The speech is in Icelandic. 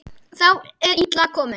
Þá er illa komið.